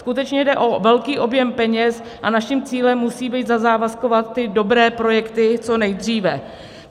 Skutečně jde o velký objem peněz a naším cílem musí být zazávazkovat ty dobré projekty co nejdříve.